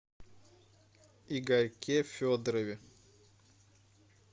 игорьке федорове